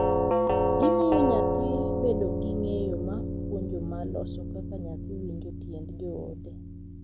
Gimiyo nyathi bedo gi ng’eyo ma puonjo ma loso kaka nyathi winjo tiend joode,